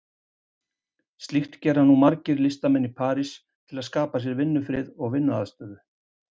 Slíkt gera nú margir listamenn í París til að skapa sér vinnufrið og vinnuaðstöðu.